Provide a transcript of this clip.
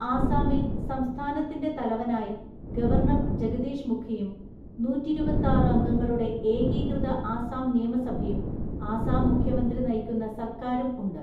ആസാമിൽ സംസ്ഥാനത്തിന്റെ തലവനായി ഗവർണർ ജഗദീഷ് മുഖിയും നൂറ്റി ഇരുപത്തിയാറു അംഗങ്ങളുടെ ഏകീകൃത ആസാം നിയമസഭയും, ആസാം മുഖ്യമന്ത്രി നയിക്കുന്ന സർക്കാരും ഉണ്ട്.